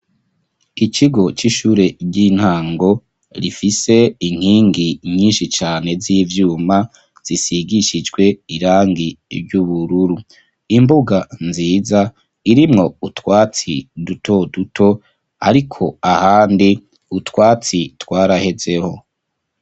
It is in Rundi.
Ikigo, c'ishure ry'intango, rifise inkingi nyinshi cane, z'ivyuma, zisigishijwe irangi ry'ubururu; imbuga nziza, irimwo utwatsi, duto duto, ariko ahandi, utwatsi twarahezeho.